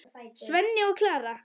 Svenni og Klara!